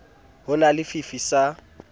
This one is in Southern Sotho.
ho na le fifi sa